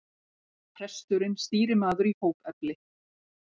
Presturinn stýrimaður í hópefli.